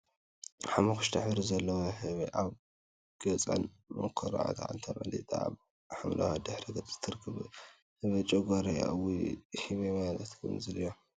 ሓመኩሽታይ ሕብሪ ዘለዋ ህበይ አብ ገፃን መዓኮራን ተመሊጣ አብ ሓመደዋይ ድሕረ ገፅ ትርከብ፡፡ ህበይ ጨጓር እያ፡፡ እውይ! ህበይ ማለት ከምዚ ድያ?